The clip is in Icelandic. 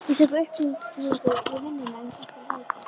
Ég fékk upphringingu í vinnuna um þetta leyti.